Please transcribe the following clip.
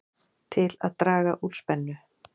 Til að draga úr spennu